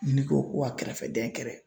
Ni ne ko ko ka kɛrɛfɛdɛn kɛrɛ